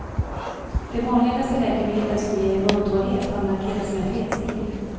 De vanligaste läkemedlen som ger muntorrhet har markerats med fet stil.